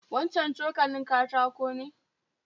Wancan cokalin katako ne?